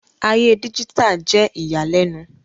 Aye díjítà jẹ iyalẹnu